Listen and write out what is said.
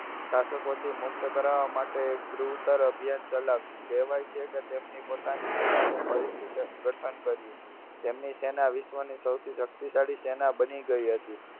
શાસકોથી મુક્ત કરાવવા માટે એક અભિયાન ચલાવ્યું. કહેવાય છે કે તેમની પોતાની સેનાનું ફરીથી સંગઠન કર્યું. તેમની સેના વિશ્વની સૌથી શક્તિશાળી સેના બની ગઈ હતી.